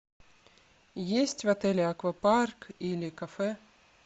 есть в отеле аквапарк или кафе